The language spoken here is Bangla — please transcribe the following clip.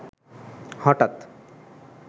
হঠাৎ